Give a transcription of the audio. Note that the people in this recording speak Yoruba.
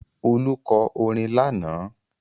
Olú kọ orin lánàá.